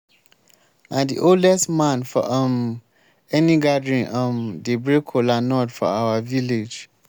na the oldest man for um any gathering um dey break kola nut for our village